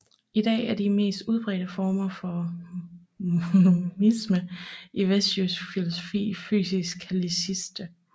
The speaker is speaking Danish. I dag er de mest udbredte former for monisme i vestlig filosofi fysikalistiske